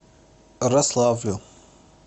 рославлю